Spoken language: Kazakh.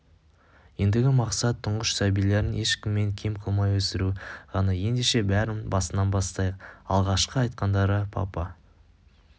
ендігі мақсат тұңғыш сәбилерін ешкімнен кем қылмай өсіру ғана ендеше бәрін басынан бастайық алғашқы айтқандары папа